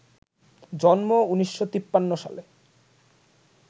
জন্ম ১৯৫৩ সালে